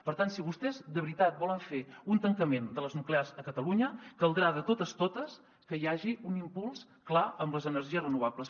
per tant si vostès de veritat volen fer un tancament de les nuclears a catalunya caldrà de totes totes que hi hagi un impuls clar en les energies renovables